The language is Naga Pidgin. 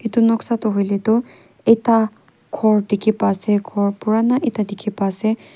edu noksa tu hoilae tu ekta khor dikhipa ase ghor pura na ekta dikhipa ase